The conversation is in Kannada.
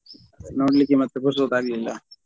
ನೋಡ್ಲಿಕ್ಕೆ ಮತ್ತೆ ಪುರ್ಸೊತ್ ಆಗ್ಲಿಲ್ಲ.